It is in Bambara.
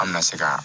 An bɛna se ka